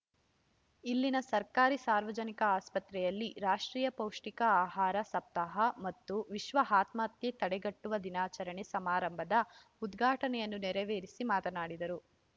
ಇಲ್ಲಿನ ಸರ್ಕಾರಿ ಸಾರ್ವಜನಿಕ ಆಸ್ಫತ್ರೆಯಲ್ಲಿ ರಾಷ್ಟ್ರೀಯ ಪೌಷ್ಠಿಕ ಆಹಾರ ಸಪ್ತಾಹ ಮತ್ತು ವಿಶ್ವ ಆತ್ಮಹತ್ಯೆ ತಡೆ ಗಟ್ಟುವ ದಿನಾಚರಣೆ ಸಮಾರಂಭದ ಉದ್ಘಾಟನೆಯನ್ನು ನೆರವೇರಿಸಿ ಮಾತನಾಡಿದರು